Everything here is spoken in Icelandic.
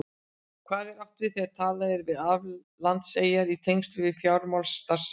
Hvað er átt við þegar talað er um aflandseyjar í tengslum við fjármálastarfsemi?